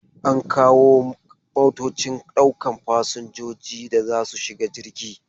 An kawo motocin daukan fasinjoji da za su shiga jirgi.